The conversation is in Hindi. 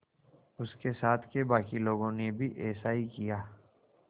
उसके साथ के बाकी लोगों ने भी ऐसा ही किया